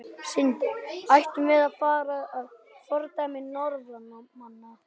Sindri: Ættum við að fara að fordæmi Norðmanna?